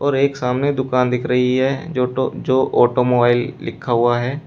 और एक सामने दुकान दिख रही है जो टो जो ऑटोमोबाइल लिखा हुआ है।